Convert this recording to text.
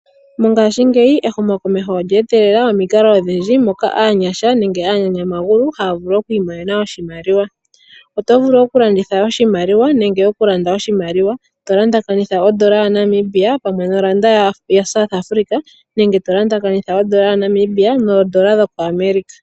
Mongashingeyi ehumokomeho olya etelela omikalo odhindji moka aanyasha nenge aanyanyamagulu haya vulu oku imonena oshimaliwa. Oto vulu okulanditha oshimaliwa nenge okulanda oshimaliwa to lumbakanitha ondola yaNamibia pamwe noRand yaSouth Africa nenge tolumbakanitha ondola yaNamibia noondola dhaAmerica.